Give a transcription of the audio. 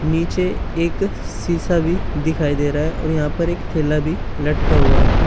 नीचे एक शिशा भी दिखाई दे रहा है और यहां पर एक थैला भी लटका हुआ है।